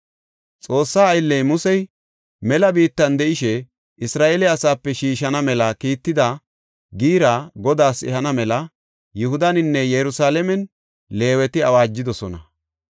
Xoossaa aylley Musey mela biittan de7ishe, Isra7eele asaape shiishana mela kiitida giira Godaas ehana mela Yihudaninne Yerusalaamen Leeweti awaajidosona.